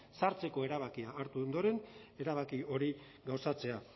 sartzeko erabakia hartu ondoren erabaki hori gauzatzea